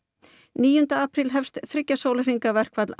níunda apríl hefst þriggja sólarhringa verkfall